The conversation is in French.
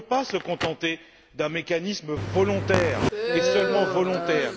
On ne peut pas se contenter d'un mécanisme volontaire et seulement volontaire.